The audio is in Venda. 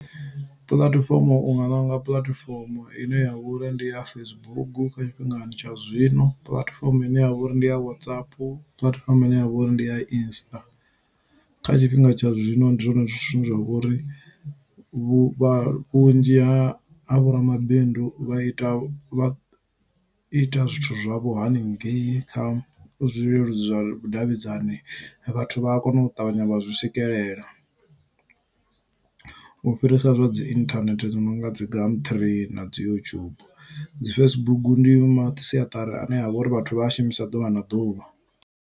Puḽatifomo unga ṋanga puḽatifomo ine yavha uri ndi ya Facebook kha tshifhingani tsha zwino puḽatifomo ine yavha uri ndi ya WhatsApp puḽatifomo ine yavha uri ndi ya insta kha tshifhinga tsha zwino ndi zwone zwine zwa vhori vhuvha vhunzhi ha vhoramabindu vha ita vha ita zwithu zwavho haningei kha zwileludzi zwa vhudavhidzani vhathu vha a kona u ṱavhanya vha zwi swikelela u fhirisa zwa dzi internet zwo no nga dzi gumtree na dzi youtube dzi Facebook ndi masiaṱari ane avha uri vhathu vha a shumisa ḓuvha na ḓuvha.